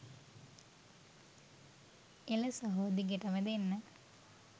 එල සහෝ දිගටම දෙන්න